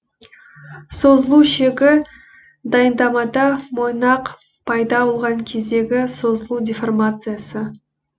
созылу шегі дайындамада мойнақ пайда болған кездегі созылу деформациясы